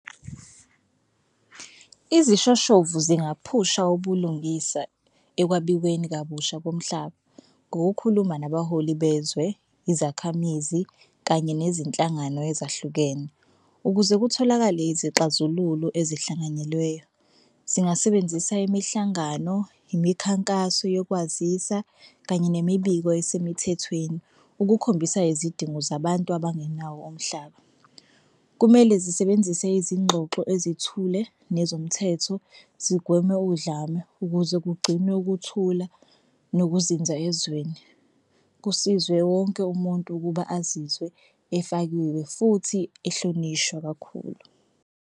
Isishoshovu zingaphusha ubulungisa ekwabiweni kabusha komhlaba ngokukhuluma nabaholi bezwe, izakhamizi kanye nezinhlangano ezahlukene ukuze kutholakale izixazululo ezihlanganyelweyo. Zingasebenzisa imihlangano, imikhankaso yokwazisa, kanye nemibiko esemthethweni ukukhombisa izidingo zabantu abangenawo umhlaba. Kumele zisebenzise izingxoxo esithule nezomthetho, zigweme udlame ukuze kugcinwe ukuthula nokuzinza ezweni. Kusizwe wonke umuntu ukuba azizwe efakiwe futhi ehlonishwa kakhulu.